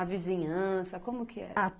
A vizinhança, como que era? A